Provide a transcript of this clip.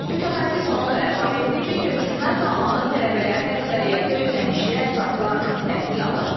Mütəxəssis onu da əlavə etdi ki, köçürmə zamanı tələbələrin əksəriyyəti ödənişli əsaslarla təhsil alır.